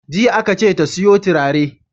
Jiya aka ce ta siyo turare!